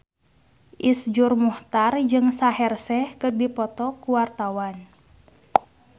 Iszur Muchtar jeung Shaheer Sheikh keur dipoto ku wartawan